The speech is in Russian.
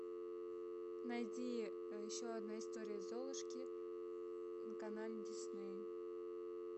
найди еще одна история золушки на канале дисней